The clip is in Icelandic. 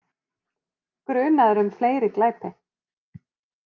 Grunaður um fleiri glæpi